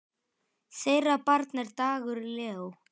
Þeirra barn er Dagur Leó.